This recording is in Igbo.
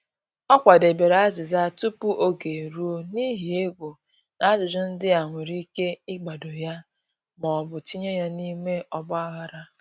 Ọ kwadebere azịza tupu oge eruo, n’ihi egwu na ajụjụ ndị a nwere ike ịgbado ya ma ọ bụ tinye ya na-ime ọgba-aghara